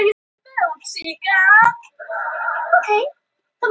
sumar lifrarbólgur geta haft alvarlegar afleiðingar ef einstaklingur smitast á fósturskeiði